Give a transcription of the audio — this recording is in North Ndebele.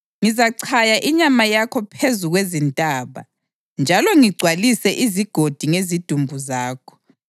Ngizachaya inyama yakho phezu kwezintaba njalo ngigcwalise izigodi ngezidumbu zakho.